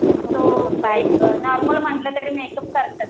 Normal म्हणलं तरी makeup करतात.